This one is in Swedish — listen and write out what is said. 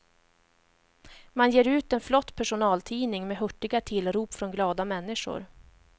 Man ger ut en flott personaltidning med hurtiga tillrop från glada människor.